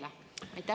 Saan ma õigesti aru?